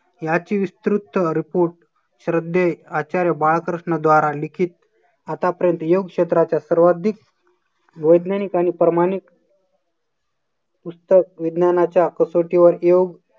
याची विस्तृत report श्रद्धे आचार्य बाळकृष्ण द्वारा लिखित आतापर्यंत योग क्षेत्राच्या सर्वाधिक वैज्ञानिक आणि प्रमाणिक पुस्तक विज्ञानाच्या कसोटीवर योग